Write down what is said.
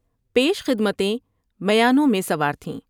پیش خدمتیں میانوں میں سوار تھیں ۔